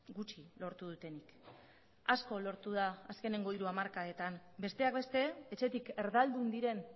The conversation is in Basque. gutxi lortu dutenik asko lortu da azkeneko hiru hamarkadetan besteak beste etxetik erdaldun diren